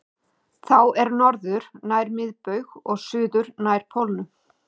Þá er norður nær miðbaug og suður nær pólnum.